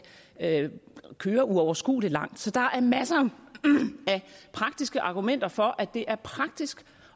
køre uoverskueligt langt så der er masser af argumenter for at det er praktisk